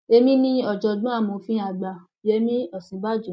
èmi ni ọjọgbọn amòfin àgbà yẹmi òsínbàjò